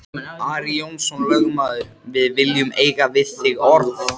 Ari Jónsson lögmaður,-við viljum eiga við þig orð!